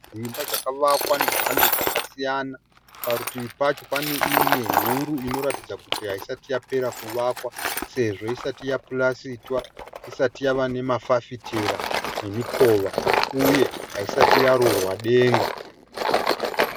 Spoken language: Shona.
Imba dzakavakwa nemhando dzakasiyana. Parutivi pacho pane imwe huru inoratidza kuti haisati yapera kuvakwa sezvo isati yapurasitwa ,isati yava nemafafitera nemikova uye haisati yarurwa denga.